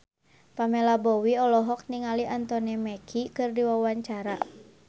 Pamela Bowie olohok ningali Anthony Mackie keur diwawancara